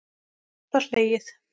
Dátt var hlegið.